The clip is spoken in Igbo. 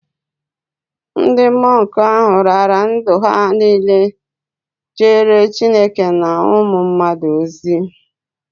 Ndị mọnk ahụ raara ndụ ha niile jeere Chineke na ụmụ mmadụ ozi